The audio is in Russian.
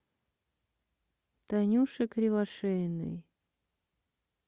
танюше кривошеиной